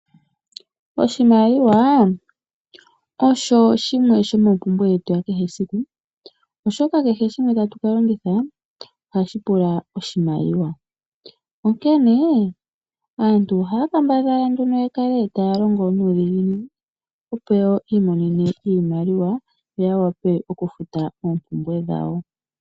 Oshimaliwa osho shimwe shomompumbwe yetu yakehe esiku, oshoka kehe shimwe tatu kalongitha ohashi pula iimaliwa onkene aantu ohaya kambadhala nduna yakale taya longo nuudhiginini opo yawape okumona iimaliwa yo yafute oompumbwe dhawo.